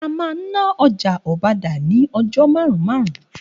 A ma n ná ọjà Ọbádá ni ọjọ́ marun-marun